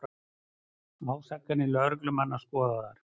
Ásakanir lögreglumanna skoðaðar